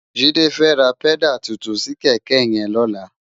Jide fè rá pèdá tútún si kèkè yèn lólá